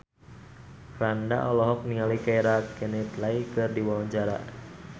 Franda olohok ningali Keira Knightley keur diwawancara